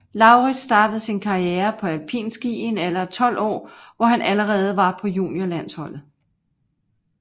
Laurits startede sin karriere på alpinski i en alder af 12 år hvor han allerede var på juniorlandsholdet